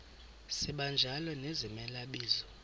sibanjalo nezimela bizo